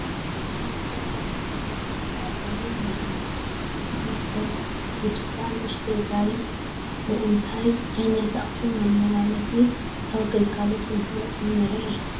ኣብ ፅርጊያ ብሰብ ዝድፋእ ጋሪ እኒሆ፡፡ እዚ ብኢድ ሰብ ዝድፋእ ንኡሽተይ ጋሪ ንእንታይ ዓይነት ኣቑሑ መመላሲ ኣብ ግልጋሎት እንትውዕል ንርኢ?